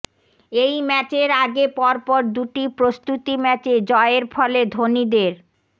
এই ম্যাচের আগে পরপর দুটি প্রস্তুতি ম্যাচে জয়ের ফলে ধোনিদের